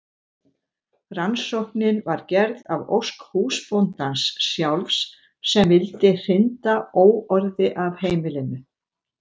rannsóknin var gerð að ósk húsbóndans sjálfs sem vildi hrinda óorði af heimilinu